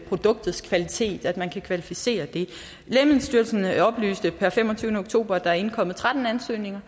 produktets kvalitet at man kan kvalificere det lægemiddelstyrelsen oplyste per femogtyvende oktober at der var indkommet tretten ansøgninger